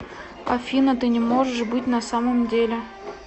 афина ты не можешь быть на самом деле